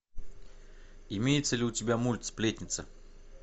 имеется ли у тебя мульт сплетница